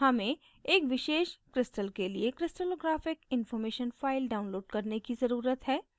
हमें एक विशेष crystal के लिए crystallographic information file download करने की ज़रुरत है